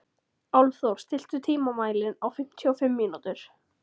Álfþór, stilltu tímamælinn á fimmtíu og fimm mínútur.